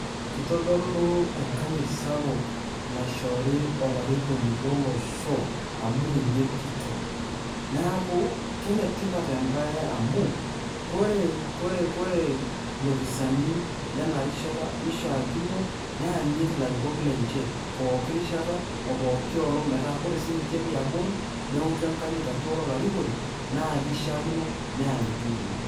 Kitodolu enkanyit sapuk naishori olarikoni lolosho amu ninye kitok, neeku kenetipat ebae amu, kore lopisani lenarishata nishaakino neanyit ilarikok lenche, pooki rishata opooki olong' metaa, kore sinche liabori, neotu enkanyit ajo ore olarikoni, na kishaakino, neanyiti ninye.